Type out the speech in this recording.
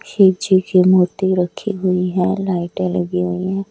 शिव जी की मूर्ति रखी हुई है लाइटें लगी हुई हैं।